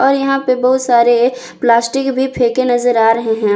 और यहां पे बहुत सारे प्लास्टिक भी फेंके नजर आ रहे हैं।